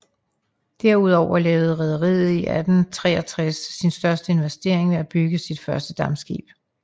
Derudover lavede rederiet i 1863 sin største investering ved at bygge sit første dampskib